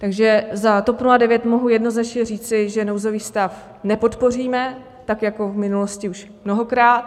Takže za TOP 09 mohu jednoznačně říci, že nouzový stav nepodpoříme, tak jako v minulosti už mnohokrát.